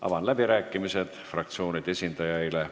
Avan läbirääkimised fraktsioonide esindajaile.